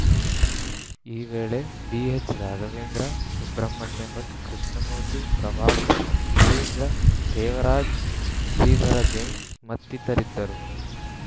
ಈ ವೇಳೆ ಬಿಎಚ್‌ರಾಘವೇಂದ್ರ ಸುಬ್ರಹ್ಮಣ್ಯಭಟ್‌ ಕೃಷ್ಣಮೂರ್ತಿ ಪ್ರಭಾಕರ್‌ ಸುಧೀಂದ್ರ ದೇವರಾಜ್‌ ಶ್ರೀಧರ ಜೈನ್‌ ಮತ್ತಿತರರಿದ್ದರು